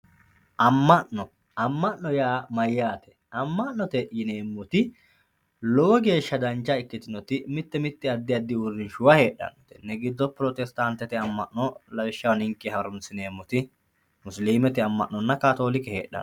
amma'no amma'no yaa mayaate amma'note yineemoti lowo geeshsha dancha ikkitinoti mite mite addi addi uurinshuwa heexxanno tenne giddo protestantete amma'no lawishshaho ninke harunsineemoti musiliimete amma'nonna kaatoolike heexxanno